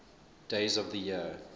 days of the year